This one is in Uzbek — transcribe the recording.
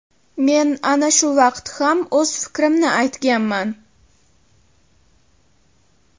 Men ana shu vaqt ham o‘z fikrimni aytganman.